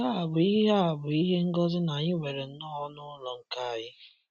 Nke a bụ ihe a bụ ihe ngozi na Anyị nwere nnọọ ọnụ ụlọ nke anyị.